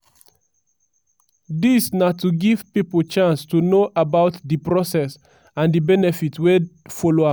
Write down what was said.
dis na to give pipo chance to know about di process and di benefits wey follow am.